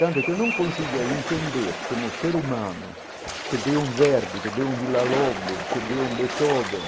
Tanto que eu não consiga entender como o ser humano, que deu um verde, que deu um Villa - Lobos, que deu um Beethoven,